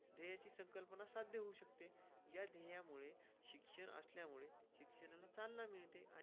त्याची संकल्पना साथ देऊ शकते. यामुळे शिक्षण असल्यामुळे शिक्षणाला चालना मिळते आहे.